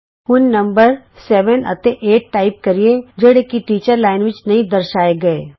ਆਉ ਹੁਣ ਨੰਬਰ ਸੱਤ ਅਤੇ ਅੱਠ ਟਾਈਪ ਕਰੀਏ ਜਿਹੜੇ ਕਿ ਟੀਚਰ ਅਧਿਆਪਕ ਲਾਈਨ ਵਿੱਚ ਨਹੀਂ ਦਰਸਾਏ ਗਏ